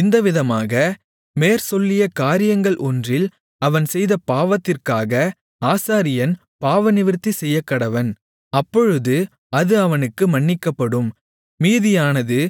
இந்தவிதமாக மேற்சொல்லிய காரியங்கள் ஒன்றில் அவன் செய்த பாவத்திற்காக ஆசாரியன் பாவநிவிர்த்தி செய்யக்கடவன் அப்பொழுது அது அவனுக்கு மன்னிக்கப்படும் மீதியானது